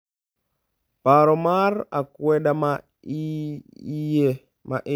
Paro mar akwede ma iye